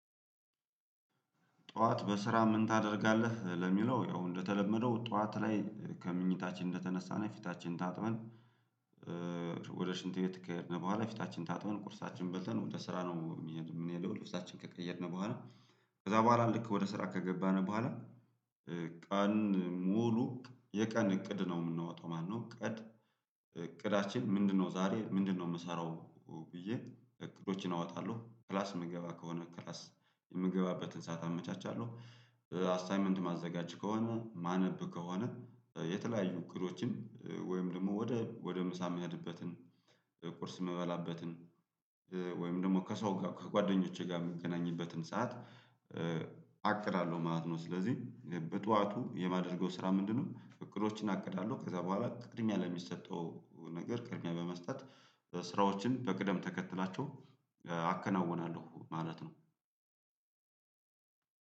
ጠዋት በስራ ምን ታደርጋለህ ለሚለው ያው እንደተለመደው ጠዋት ላይ ከመኝታችን እንደተነሳን ፊታችን ታጥበን ወደ ሽንት ቤት ከሄድን በኋላ ፊታችን ታጥበን ቁርሳችንን በልተን ወደ ስራ ነው የምንሄደው ልብሳችንን ከቀየርን በኋላ ከዛ በኋላ ልክ ወደ ስራ ከገባን በኋላ ቀን ሙሉ የቀን እቅድ ነው የምንወጣው ማለት ነው ቀድ እቅዳችን ምንድነው? ዛሬ ምንድነው የምሰራው ብዬ እቅዶችን አወጣለሁ። ክላስ የምገባ ከሆነ ክላስ የምገባበትን ሰዓት አመቻቻለሁ አስታይመንት የማዘጋጀት ከሆነ የማነብ ከሆነ የተለያዩ እቅዶችን ወይም ደግሞ ወደ ወደ ምሳ የምሄድበትን ቁርስ የምበላበትን ወይም ደግሞ ከሰው ጋር ከጓደኞቼ ጋር የምገናኝበትን ሰዓት። አቅዳለሁ ማለት ነው ስለዚህ በጠዋቱ የማደርገው ስራ ምንድነው? እቅዶችን አቅዳለሁ ከዛ በኋላ ቅድሚያ ለሚሰጠው ነገር ቅድሚያ በመስጠት ስራዎችን በቅደም ተከትላቸው አከናውናለሁ ማለት ነው።